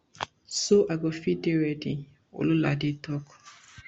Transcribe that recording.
so i go fit dey ready ololade tok